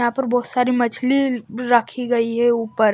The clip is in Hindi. यहां पर बहुत सारी मछली रखी गई है ऊपर--